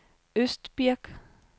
Østbirk